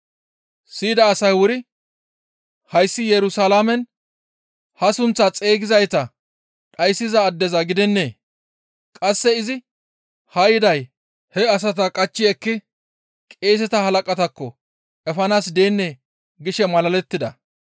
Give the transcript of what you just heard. Siyida asay wuri, «Hayssi Yerusalaamen ha sunththaa xeygizayta dhayssiza addeza gidennee? Qasse izi haa yiday he asata qachchi ekki qeeseta halaqataakko efanaas deennee?» gishe malalettida.